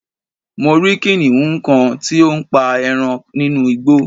mo rí kìnìhún kan tí ó ń pa eran nínú Igbo